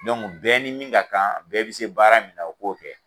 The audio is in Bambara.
bɛɛ ni min ka kan, bɛɛ bɛ se baara min na o k'o kɛ.